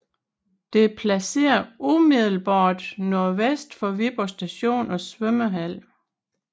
Det er placeret umiddelbart nordvest for Viborg Station og svømmehal